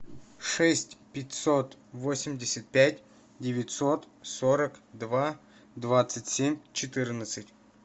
шесть пятьсот восемьдесят пять девятьсот сорок два двадцать семь четырнадцать